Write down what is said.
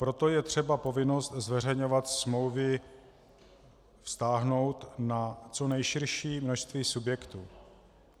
Proto je třeba povinnost zveřejňovat smlouvy vztáhnout na co nejširší množství subjektů.